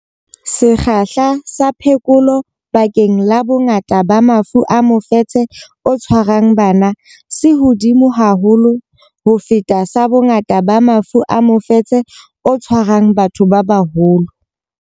Sekgahla sa phekolo bakeng la bongata ba mafu a mofetshe o tshwarang bana se hodimo haholo ho feta sa bongata ba mafu a mofetshe o tshwarang batho ba baholo.